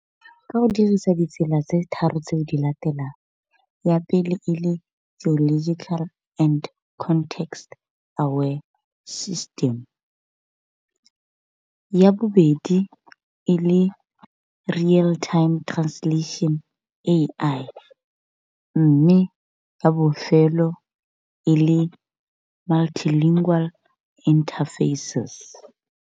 Ka go dirisa ditsela tse tharo tse di latelang ya pele e le geological and context aware system, ya bobedi e le real time translation A_I mme ya bofelo e le multilingual interfaces.